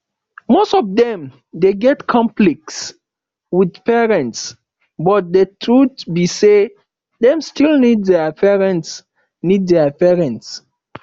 most of them de get conflicts with parents but the truth be say dem still need their parents need their parents